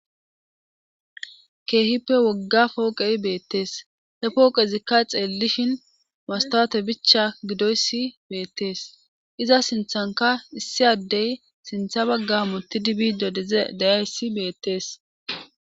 Keehippe wogga ooqey beettes he pooqezikka xeellishin masttoote bicha gidoyssi beettees iza sinthankka issi addey sintha bagga hamuttidi biidde diza de7iyayssi beettees.